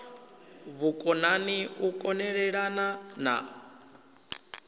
vhukonani u kon elelana na